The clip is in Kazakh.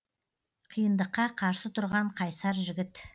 қиындыққа қарсы тұрған қайсар жігіт